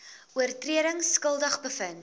oortredings skuldig bevind